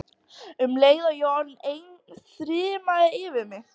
Um leið og ég var orðin ein þyrmdi yfir mig.